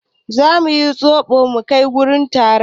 Za mu yi zoɓo mu kai ta wurin taro.